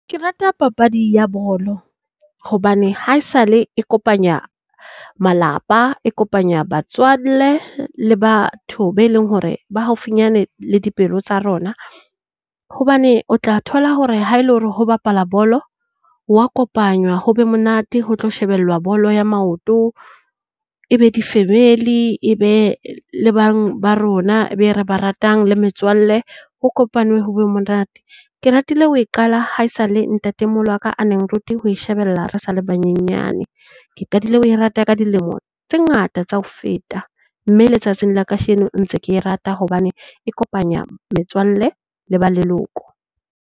Ke rata papadi ya bolo hobane haesale e kopanya malapa, e kopanya batswalle le batho be leng hore bo haufinyane le dipelo tsa rona. Hobane o tla thola hore ha ele hore ho bapala bolo hwa kopanywa ho be monate ho tlo shebellwa bolo ya maoto. E be di-family e be le bang ba rona be re ba ratang le metswalle, ho kopanwe ho be monate. Ke ratile ho e qala haesale ntate moholo wa ka a neng a nrute ho e shebella re sa le banyenyane. Ke qadile ho e rata ka dilemo tse ngata tsa ho feta, mme le tsatsing la kasheno ntse ke e rata hobane e kopanya metswalle le ba leloko.